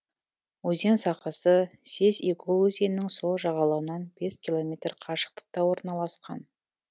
өзен сағасы сес игол өзенінің сол жағалауынан бес километр қашықтықта орналасқан